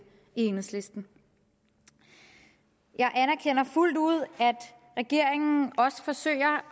i enhedslisten jeg anerkender fuldt ud at regeringen også forsøger